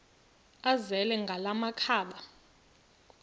azele ngala makhaba